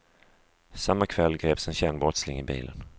Samma kväll greps en känd brottsling i bilen.